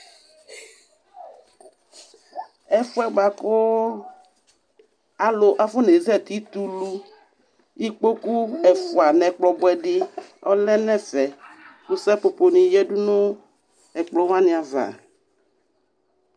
Ɛfʋ yɛ bua kʋ alʋ afɔnezati t'ulu Ikpoku ɛfua n'ɛkplɔ bʋɛ di ɔlɛ n'ɛfɛ kʋ sapoponi yǝdʋ nʋ ɛkplɔwani ava